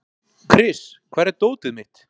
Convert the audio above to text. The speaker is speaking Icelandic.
Kris, hvar er dótið mitt?